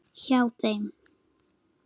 Hjá þeim.